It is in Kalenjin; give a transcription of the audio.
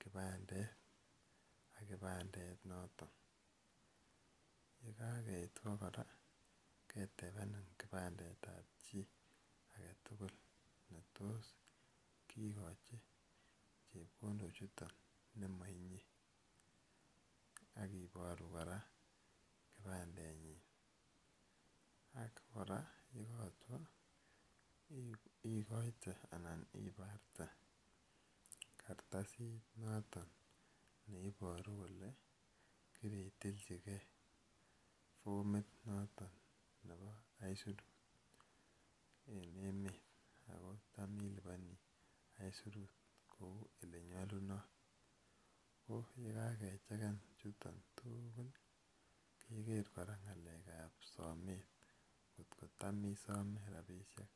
kipandet ak kipandenoton. Ye kakaeit ko kora ketepenin kioandet ap chi ne tos kikacji chepkondochuton ne ma inye. Ak iparu kora kipandenyin. Ak kora ye katwa ikaite anan iparte kartasit notok ne iparu kole kiritilchigei fomit notok nepo aisurut en emet ako cham ilipani aisurut kou ye nyalutot. So kokakecheken chu tugul, keker kora samet ngo cham isame rapishek.